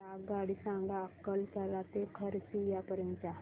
मला आगगाडी सांगा अकलतरा ते खरसिया पर्यंत च्या